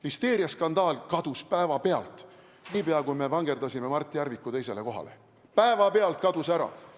Listeeriaskandaal kadus päevapealt, niipea kui me vangerdasime Mart Järviku teisele kohale, päevapealt kadus ära.